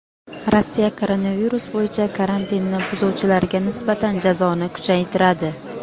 Rossiya koronavirus bo‘yicha karantinni buzuvchilarga nisbatan jazoni kuchaytiradi.